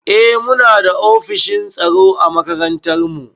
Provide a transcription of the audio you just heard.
Eh muna da ofishin tsaro a makarantar mu.